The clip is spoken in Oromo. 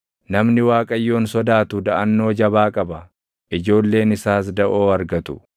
Namni Waaqayyoon sodaatu daʼannoo jabaa qaba; ijoolleen isaas daʼoo argatu.